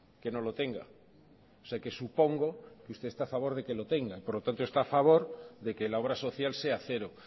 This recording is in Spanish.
que no lo tenga o sea que supongo que usted está a favor de que lo tenga por lo tanto está a favor de que la obra social sea cero